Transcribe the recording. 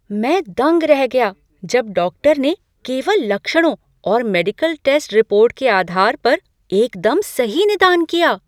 मैं दंग रह गया जब डॉक्टर ने केवल लक्षणों और मेडिकल टेस्ट रिपोर्ट के आधार पर एकदम सही निदान किया!